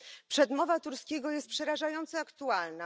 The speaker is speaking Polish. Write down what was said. Przemowa Turskiego jest przerażająco aktualna.